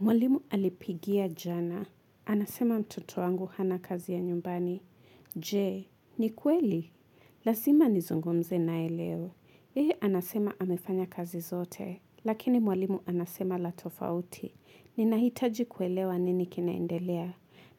Mwalimu alipigia jana. Anasema mtoto wangu hana kazi ya nyumbani. Je, ni kweli? Lazima nizungumze naye leo. Yeye anasema amefanya kazi zote. Lakini mwalimu anasema la tofauti. Ninahitaji kuelewa nini kinaendelea.